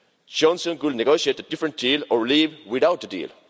Johnson could negotiate a different deal or leave without a deal.